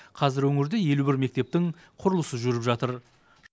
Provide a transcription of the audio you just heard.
қазір өңірде елу бір мектептің құрылысы жүріп жатыр